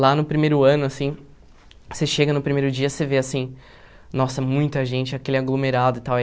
Lá no primeiro ano, assim, você chega no primeiro dia, você vê, assim, nossa, muita gente, aquele aglomerado e tal.